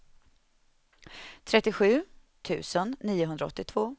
trettiosju tusen niohundraåttiotvå